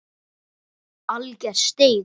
Alger steik.